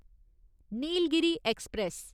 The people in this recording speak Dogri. नीलगिरी ऐक्सप्रैस